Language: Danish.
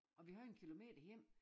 Og vi havde en kilometer hjem